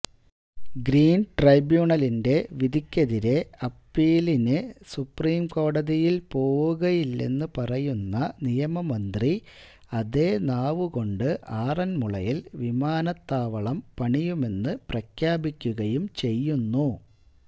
ഗ്രീന്ട്രൈബ്യൂണലിന്റെ വിധിക്കെതിരെ അപ്പീലിന് സുപ്രീംകോടതിയില് പോവുകയില്ലെന്ന് പറയുന്ന നിയമമന്ത്രി അതേ നാവുകൊണ്ട് ആറന്മുളയില് വിമാനത്താവളം പണിയുമെന്ന് പ്രഖ്യാപിക്കുകയും ചെയ്യുന്നു